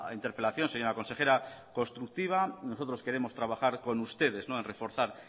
interpelación señora consejera constructiva nosotros queremos trabajar con ustedes en reforzar